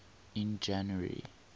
in january